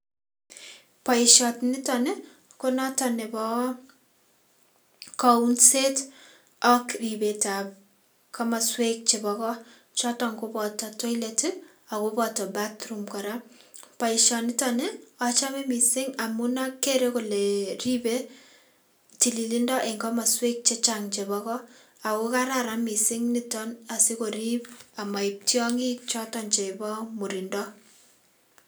Boishoniton nii konoton nebo kounset ak ribetab komoswek chebo koot choton koboto toilet ak ko boto bathroom kora, boishoniton ochome mising amun akere olee ribee tililindo en komoswek chechang chebo koot ak ko kararan mising niton asikorib amoib tiong'ik choton chebo murindo.